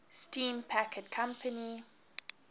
steam packet company